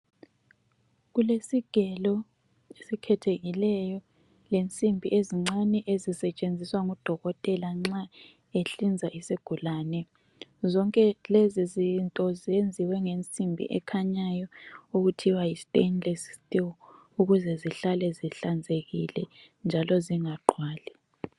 Kulesigelo esikhethekileyo lensimbi ezincane ezisetshenziswa ngodokotela nxa behlinza isigulane, zonke lezi zinto ziyenziwe ngensimbi ekhanyayo okuthiwa yi(stainless still)ukuze zihlale zihlanzekile njalo zingaqwali.